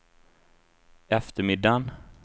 eftermiddagen